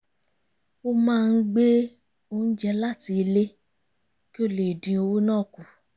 ó máa ń gbé oúnjẹ láti ilé kí ó lè dín owó ná kù